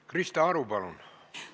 Krista Aru, palun!